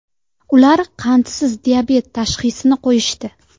Ular qandsiz diabet tashxisini qo‘yishdi.